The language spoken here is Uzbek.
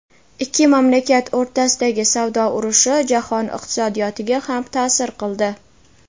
Ikki mamlakat o‘rtasidagi savdo urushi jahon iqtisodiyotiga ham ta’sir qildi.